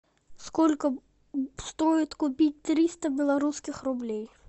сколько стоит купить триста белорусских рублей